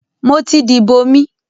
mo ti dìbò mi.